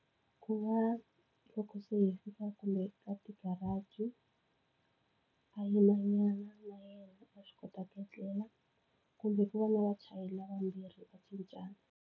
Ku va loko se hi fika kumbe ka ti-garage, a yimanyana na yena a swi kota ku etlela. Kumbe ku va na vachayeri lava vambirhi va cincana.